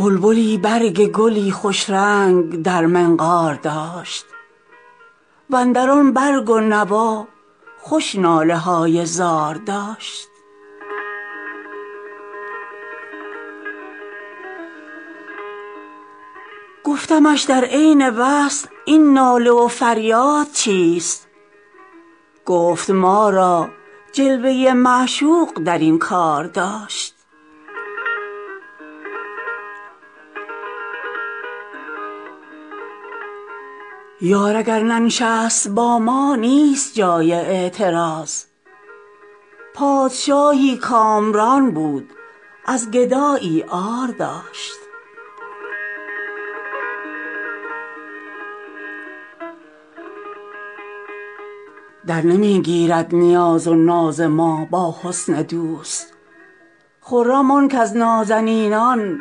بلبلی برگ گلی خوش رنگ در منقار داشت و اندر آن برگ و نوا خوش ناله های زار داشت گفتمش در عین وصل این ناله و فریاد چیست گفت ما را جلوه ی معشوق در این کار داشت یار اگر ننشست با ما نیست جای اعتراض پادشاهی کامران بود از گدایی عار داشت درنمی گیرد نیاز و ناز ما با حسن دوست خرم آن کز نازنینان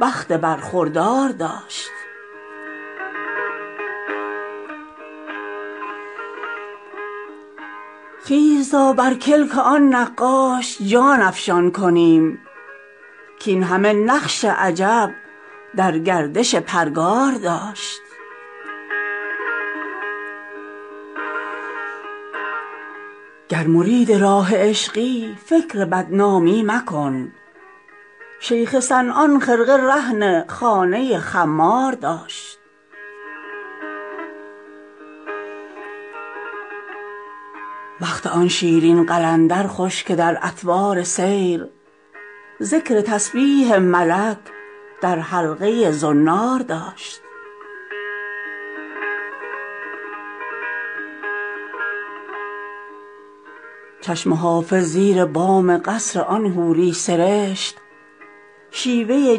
بخت برخوردار داشت خیز تا بر کلک آن نقاش جان افشان کنیم کاین همه نقش عجب در گردش پرگار داشت گر مرید راه عشقی فکر بدنامی مکن شیخ صنعان خرقه رهن خانه خمار داشت وقت آن شیرین قلندر خوش که در اطوار سیر ذکر تسبیح ملک در حلقه ی زنار داشت چشم حافظ زیر بام قصر آن حوری سرشت شیوه ی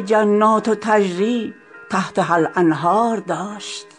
جنات تجری تحتها الانهار داشت